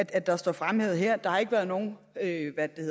at der står fremhævet her at der ikke har været nogen